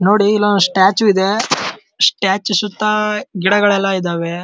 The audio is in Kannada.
ನೋಡಿ ಇಲ್ಲೊಂದ್ ಸ್ಟ್ಯಾಚು ಇದೆ ಸ್ಟ್ಯಾಚು ಸುತ್ತ ಗಿಡಗಳು ಎಲ್ಲ ಇದ್ದವೇ.